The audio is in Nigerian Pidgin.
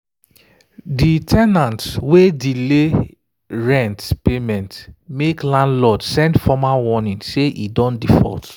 de ten ant wey delay rent payment make landlord send formal warning say e don default.